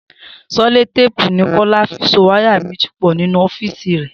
Selotéèpù ni Kó̩lá fi so wáyà méjì pò̩ nínú ó̩fíìsì rè̩